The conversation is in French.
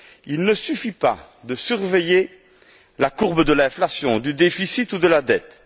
Il ne suffit pas de surveiller la courbe de l'inflation, du déficit ou de la dette.